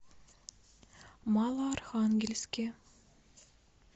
малоархангельске